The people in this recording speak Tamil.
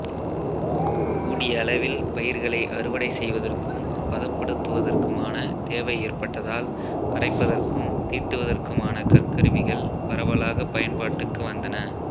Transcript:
கூடிய அளவில் பயிர்களை அறுவடை செய்வதற்கும் பதப்படுத்துவதற்குமான தேவை ஏற்பட்டதால் அரைப்பதற்கும் தீட்டுவதற்குமான கற்கருவிகள் பரவலாகப் பயன்பாட்டுக்கு வந்தன